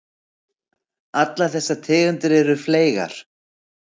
Allar þessar tegundir eru fleygar.